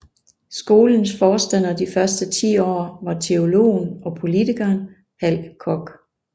Skolens forstander de første ti år var teologen og politikeren Hal Koch